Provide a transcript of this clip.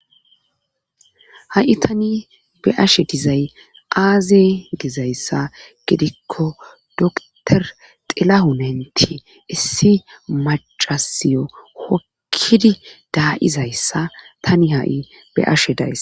ha7i tani be'ashe dizay aaze gizayssa gidikko doktor xilahunenti issi macasiyo hokkidi daa7izayssa tani ha7i beashe dayss